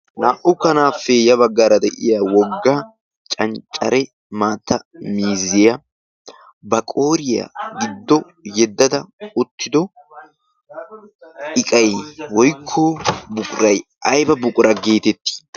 Naa'u kanaapee ya baggaara de'iya wogga canccare maatta mizziyaa ba qooriyaa giddo yeddada ottido iqai woikko buqurai aiba buqura geitettii?